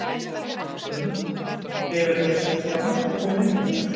Hrund: Hefur eitthvað nýtt fjármagn komið inn í þetta?